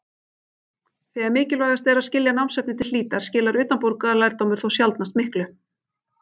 Þegar mikilvægast er að skilja námsefnið til hlítar skilar utanbókarlærdómur þó sjaldnast miklu.